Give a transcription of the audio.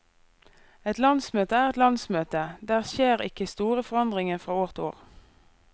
Et landsmøte er et landsmøte, der skjer ikke store forandringer fra år til år.